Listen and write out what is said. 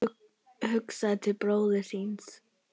Hugsaði til bróður síns.